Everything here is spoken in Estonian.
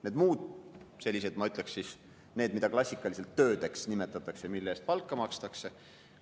Need muud tööd on sellised, mida klassikaliselt töödeks nimetatakse ja mille eest palka makstakse.